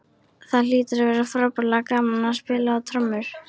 Það hlýtur að vera frábærlega gaman að spila á trommur!